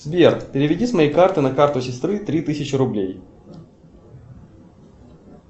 сбер переведи с моей карты на карту сестры три тысячи рублей